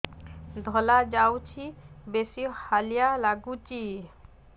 ଧଳା ଯାଉଛି ବେଶି ହାଲିଆ ଲାଗୁଚି